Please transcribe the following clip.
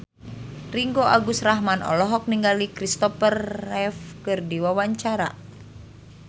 Ringgo Agus Rahman olohok ningali Christopher Reeve keur diwawancara